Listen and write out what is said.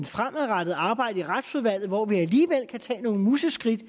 fremadrettet arbejde i retsudvalget hvor vi alligevel kan tage nogle museskridt